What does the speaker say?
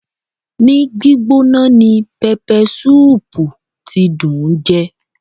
Ní gbígbóná ni pẹpẹsúùpù tí dùn ún jẹ.